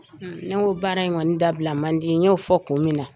Ne ko baara in kɔni dabila man di n y'o fɔ kun min na